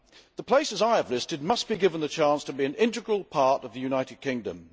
The places I have listed must be given the chance to be an integral part of the United Kingdom.